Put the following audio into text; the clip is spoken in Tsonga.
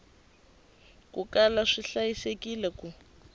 ku kala swi hlayisekile ku